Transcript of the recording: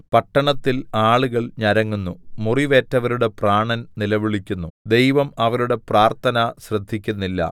പട്ടണത്തിൽ ആളുകൾ ഞരങ്ങുന്നു മുറിവേറ്റവരുടെ പ്രാണൻ നിലവിളിക്കുന്നു ദൈവം അവരുടെ പ്രാര്‍ത്ഥന ശ്രദ്ധിക്കുന്നില്ല